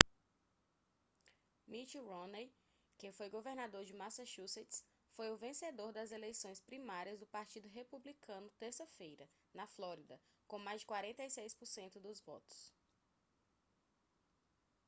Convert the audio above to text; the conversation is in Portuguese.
mitt romney que foi governador de massachusetts foi o vencedor das eleições primárias do partido republicano terça-feira na flórida com mais de 46 por cento dos votos